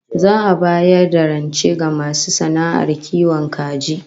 Za'a bayar da rance ga masu sana'ar kiwon kaji